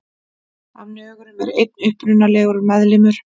Af nögurum er einn upprunalegur meðlimur.